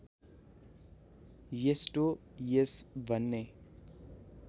एस्टो एस भन्ने